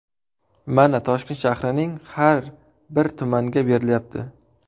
Mana Toshkent shahrining har bir tumanda berilyapti.